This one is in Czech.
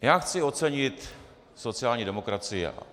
Já chci ocenit sociální demokracii.